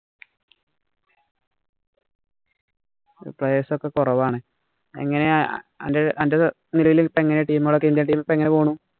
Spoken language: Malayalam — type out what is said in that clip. player''s ഒക്കെ കുറവാണ്. എങ്ങനെയാ അന്‍റെ നിലവിലത്തെ team കള്‍ indian team ഒക്കെ എങ്ങനെ പോണു. നരവിലത്ത് ടീം ഒക്കെ എങ്ങനെ പോണു.